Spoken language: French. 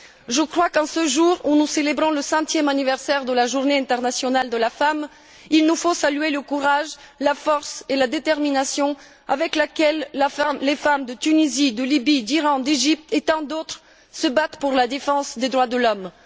Je crois qu'en ce jour où nous célébrons le centième anniversaire de la Journée internationale de la femme, il nous faut saluer le courage, la force et la détermination avec laquelle les femmes de Tunisie, de Libye, d'Iran, d'Égypte et tant d'autres se battent pour la défense des droits de l'homme.